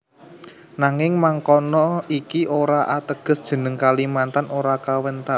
Nanging mangkono iki ora ateges jeneng Kalimantan ora kawentar